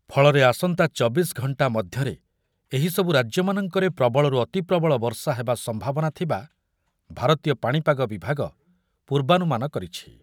ଫଳରେ ଆସନ୍ତା ଚବିଶି ଘଣ୍ଟା ମଧ୍ୟରେ ଏହିସବୁ ରାଜ୍ୟମାନଙ୍କରେ ପ୍ରବଳରୁ ଅତିପ୍ରବଳ ବର୍ଷା ହେବା ସମ୍ଭାବନା ଥିବା ଭାରତୀୟ ପାଣିପାଗ ବିଭାଗ ପୂର୍ବାନୁମାନ କରିଛି ।